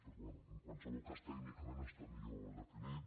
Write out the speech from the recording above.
però bé en qualsevol cas tècnicament està millor definit